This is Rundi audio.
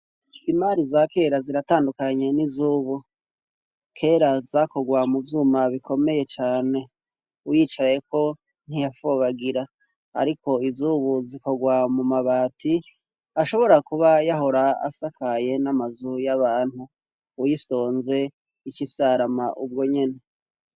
Imari za kera ziratandukanye n'izubu; kera zakogwa muvyuma bikomeye cane wicayeko ntiyafobagira ariko izubu zikogwa mumabati ashobora kuba yahora asakaye n'amazu y'abantu uyifyonze icifyarama ubwonyene.